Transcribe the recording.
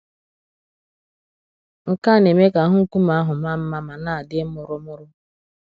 Nke à na-eme ka ahụ nkume àhụ maa mmā ma na-adị mụrụmụrụ.